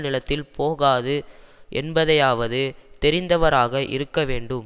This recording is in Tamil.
நிலத்தில் போகாது என்பதையாவது தெரிந்தவராக இருக்க வேண்டும்